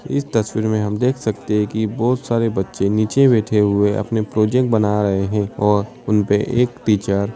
इस तस्वीर में हम देख सकते हैं कि बोहोत सारे बच्चे नीचे बैठे हुए अपने प्रोजेक्ट बना रहे हैं और उन पे एक टीचर --